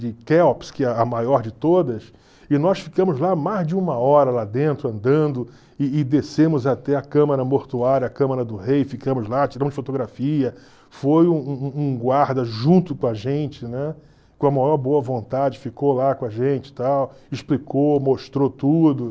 de Quéops, que é a maior de todas, e nós ficamos lá mais de uma hora lá dentro, andando, e e descemos até a Câmara Mortuária, a Câmara do Rei, ficamos lá, tiramos fotografia, foi um um um guarda junto com a gente, né, com a maior boa vontade, ficou lá com a gente e tal, explicou, mostrou tudo.